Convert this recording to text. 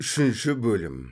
үшінші бөлім